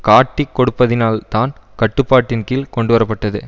காட்டிக் கொடுப்பதினால்தான் கட்டுப்பாட்டின்கீழ் கொண்டுவர பட்டது